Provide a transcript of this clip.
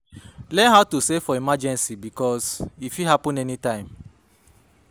Learn how to save for emergency bikos e fit hapun anytine